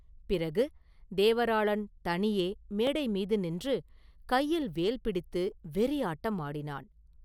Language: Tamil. பிறகு, தேவராளன் தனியே மேடை மீது நின்று கையில் வேல் பிடித்து வெறியாட்டம் ஆடினான்.